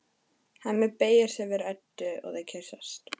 Hemmi beygir sig yfir Eddu og þau kyssast.